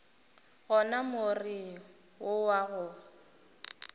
gona more wo wa go